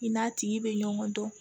I n'a tigi bɛ ɲɔgɔn dɔn